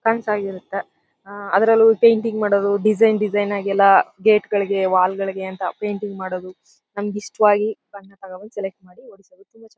ಕನಸ್ ಆಗಿರುತ್ತೆ ಅದ್ರಲ್ಲೂ ಪೇಂಟಿಂಗ್ ಮಾಡೋದು ಡೆಜಯ್ನ್ ಡೆಜಯ್ನ್ ಆಗಿ ಎಲ್ಲ ಗೇಟ್ ಗಳಿಗೆ ವಾಲ್ ಗಳಿಗೆ ಅಂತ ಪೇಂಟಿಂಗ್ ಮಾಡೋದು ನಮಿಗ್ ಇಷ್ಟವಾಗಿ ಬಣ್ಣ ತಗೊಂಡ್ ಬಂದು ಸೆಲೆಕ್ಟ್ ಮಾಡಿ ಒಡ್ಸೋದು